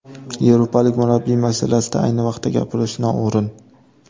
Yevropalik murabbiy masalasida ayni vaqtda gapirish noo‘rin.